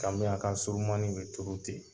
Ganbiyaka surunmani be turu ten